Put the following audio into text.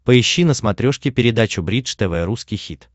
поищи на смотрешке передачу бридж тв русский хит